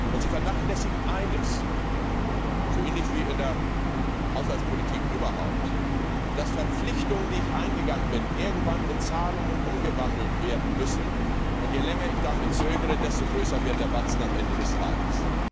Und sie vernachlässigen eines so ähnlich wie in der Haushaltspolitik überhaupt dass Verpflichtungen, die ich eingegangen bin, irgendwann in Zahlungen umgewandelt werden müssen, und je länger ich damit zögere, desto größer wird der Batzen am Ende des Tages.